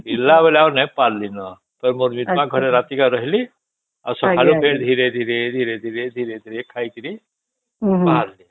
ଫେରିଲା ବେଳେ ଆଉ ପାରିଲି ନ ତ ମୋର ଘରେ ରାତିକେ ରହିଲି ଆଉ ସକାଳୁ ଫେର ଧୀରେ ଧୀରେ ଧୀରେ ଖାଇକିରି ବାହାରିଲି